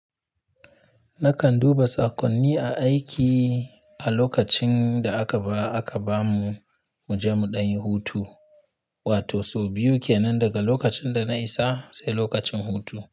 Nakan duba tsakonni a aiki a lokacin da aka ba aka bamu muje mu ɗan yi hutu, wato sau biyu kenan daga lokacin da na isa sai lokacin hutu.